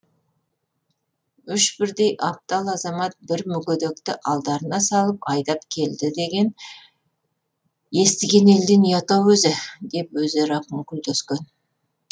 үш бірдей аптал азамат бір мүгедекті алдарына салып айдап келді деген естіген елден ұят ау өзі деп өзара күңкілдескен